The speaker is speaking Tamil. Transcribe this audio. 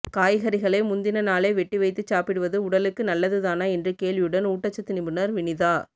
காய்கறிகளை முந்தின நாளே வெட்டி வைத்துச் சாப்பிடுவது உடலுக்கு நல்லதுதானா என்ற கேள்வியுடன் ஊட்டச்சத்து நிபுணர் வினிதா